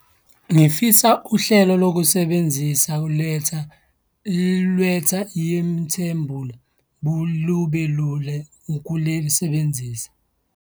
Ngifisa uhlelo lokusebenzisa ukuletha lube lula ukulisebenzisa.